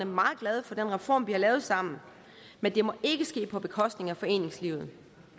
meget glade for den reform vi har lavet sammen men det må ikke ske på bekostning af foreningslivet